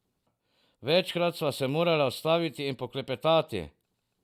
Večkrat sva se morala ustaviti in poklepetati.